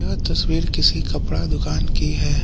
यह तस्वीर किसी कपड़ा दुकान की है।